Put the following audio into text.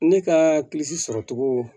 Ne ka sɔrɔcogo